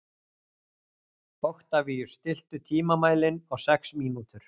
Oktavíus, stilltu tímamælinn á sex mínútur.